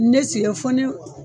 Ne sigɛ fɔ ne